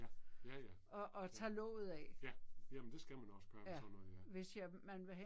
Ja. Ja ja, ja. Ja. Jamen det skal man også gøre med sådan noget her